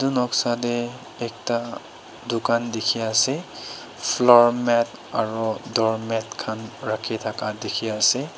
Etu noksa dae ekta dukhan dekhe ase floor mat aro doormat khan rakhi thaka dekhe ase.